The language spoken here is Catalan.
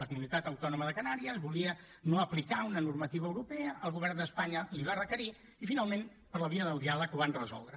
la comunitat autònoma de canàries volia no aplicar una normativa europea el govern d’espanya l’hi va requerir i finalment per la via del diàleg ho van resoldre